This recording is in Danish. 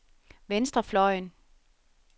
venstrefløjen